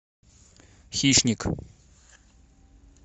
хищник